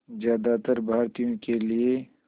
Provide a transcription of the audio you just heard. ज़्यादातर भारतीयों के लिए